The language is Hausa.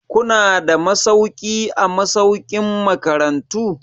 Kuna da masauki a masaukin makarantu?